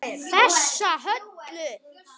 Þessa Höllu!